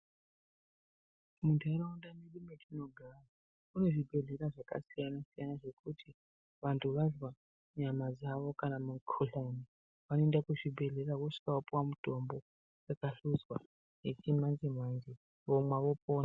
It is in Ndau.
Muntaraunda mwedu mwetinogara mune zvibhedhlera zvakasiyana siyana zvekuti vantu vanzwa nyama dzawo kana mikuhlane vanoenda kuzvibhedhlera vosvika vopiwa mitombo yakahluswa, yechimanje manje vomwa vopona.